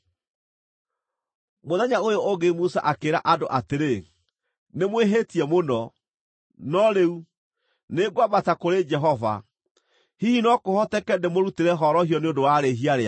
Mũthenya ũyũ ũngĩ Musa akĩĩra andũ atĩrĩ, “Nĩmwĩhĩtie mũno. No rĩu, nĩngwambata kũrĩ Jehova; hihi no kũhoteke ndĩmũrutĩre horohio nĩ ũndũ wa rĩhia rĩanyu.”